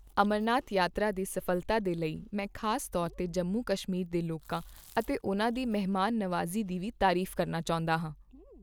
ਅਮਰਨਾਥ ਯਾਤਰਾ ਦੀ ਸਫ਼ਲਤਾ ਦੇ ਲਈ ਮੈਂ ਖ਼ਾਸ ਤੌਰ ਤੇ ਜੰਮੂ ਕਸ਼ਮੀਰ ਦੇ ਲੋਕਾਂ ਅਤੇ ਉਨ੍ਹਾਂ ਦੀ ਮਹਿਮਾਨਨਵਾਜ਼ੀ ਦੀ ਵੀ ਤਾਰੀਫ਼ ਕਰਨਾ ਚਾਹੁੰਦਾ ਹਾਂ।